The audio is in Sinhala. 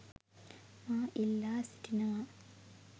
මා ඉල්ලා සිටිනවා.